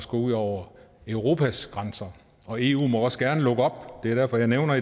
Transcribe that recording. går ud over europas grænser og eu må også gerne lukke op det er derfor jeg nævner